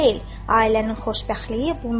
Ailənin xoşbəxtliyi bundadır.